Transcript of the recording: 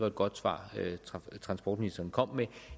et godt svar transportministeren kom med